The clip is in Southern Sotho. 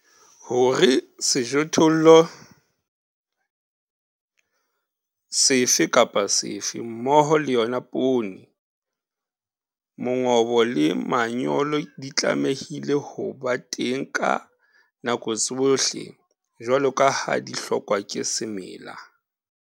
Hore sejothollo sefe kapa sefe mmoho leyona poone, mongobo le manyolo di tlamehile ho ba teng ka nako tsohle jwalo kaha di hlokwa ke semela.